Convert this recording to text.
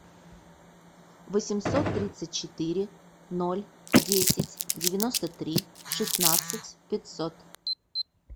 восемьсот тридцать четыре ноль десять девяносто три шестнадцать пятьсот